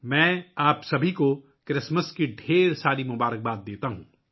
میں آپ سب کو کرسمس کی بہت بہت مبارکباد دیتا ہوں